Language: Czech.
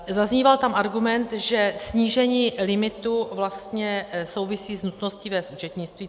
Zazníval tam argument, že snížení limitu vlastně souvisí s nutností vést účetnictví.